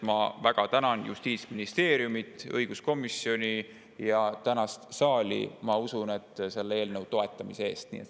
Ma väga tänan selle eest Justiitsministeeriumit ja õiguskomisjoni, samuti tänast saali, ma usun, selle eelnõu toetamise eest.